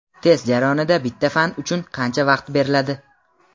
Test jarayonida bitta fan uchun qancha vaqt beriladi?.